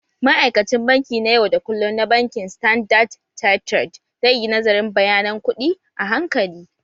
Ma'aikacin banki na yau da kullum na bankin standard chartered zai yi nazarin bayanan kuɗin a hankali